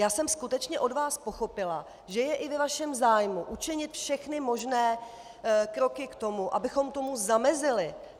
Já jsem skutečně od vás pochopila, že je i ve vašem zájmu učinit všechny možné kroky k tomu, abychom tomu zamezili.